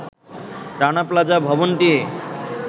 Rana Plaza ভবনটি